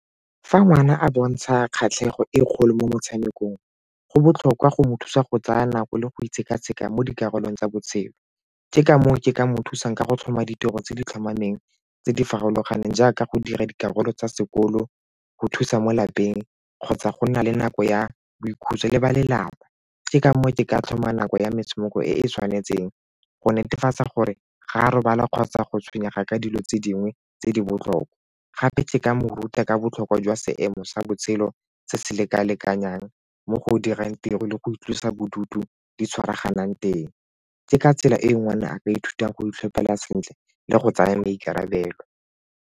Fa ngwana a bontsha kgatlhego e kgolo mo motshamekong, go botlhokwa go mo thusa go tsaya nako le go sekaseka mo dikarolong tsa botshelo. Ke ka moo ke ka mo thusang ka go tlhoma ditiro tse di tlhomameng tse di farologaneng jaaka go dira dikarolo tsa sekolo, go thusa mo lapeng kgotsa go nna le nako ya boikhutso le ba lelapa. Ke ka moo ke ka tlhoma nako ya metshameko e e tshwanetseng go netefatsa gore ga a robala kgotsa go tshwenyega ka dilo tse dingwe tse di botlhokwa. Gape ke ka mo ruta ka botlhokwa jwa seemo sa botshelo se se leka-lekanyang mo go dirang tiro le go itlosa bodutu di tshwaraganong teng tse ka tsela e e ngwana a ka ithutang go itlhophela sentle le go tsaya maikarabelo.